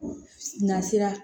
Na sera